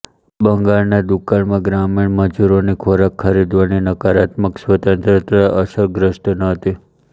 બંગાળના દુકાળમાં ગ્રામીણ મજૂરોની ખોરાક ખરીદવાની નકારાત્મક સ્વતંત્રતા અસગ્રસ્ત ન હતી